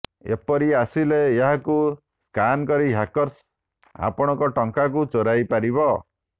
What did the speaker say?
ଏପରି ଆସିଲେ ଏହାକୁ ସ୍କାନ କରି ହ୍ୟାକର୍ସ ଆପଣଙ୍କ ଟଙ୍କାକୁ ଚୋରାଇ ପାରିବ